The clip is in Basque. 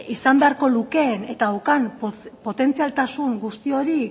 izan beharko lukeen eta daukan potentzialtasun guzti hori